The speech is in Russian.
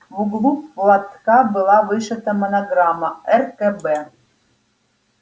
в углу платка была вышита монограмма ркб